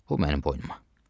Bu mənim boynuma.